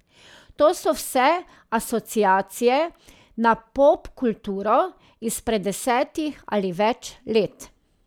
To so vse asociacije na popkulturo izpred desetih ali več let.